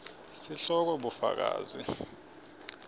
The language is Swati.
sihloko bufakazi